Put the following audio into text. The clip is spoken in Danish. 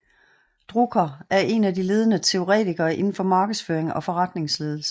Drucker er en af de ledende teoretikere indenfor markedsføring og forretningsledelse